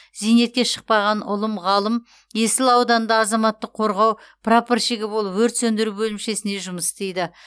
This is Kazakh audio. зейнетке шықпаған ұлым ғалым есіл ауданында азаматтық қорғау прапорщигі болып өрт сөндіру бөлімшесінде жұмыс істейді